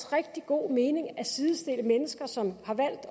rigtig god mening at sidestille mennesker som har valgt